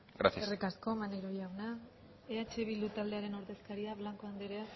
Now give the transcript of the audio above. gracias eskerrik asko maneiro jauna eh bildu taldearen ordezkaria blanco anderea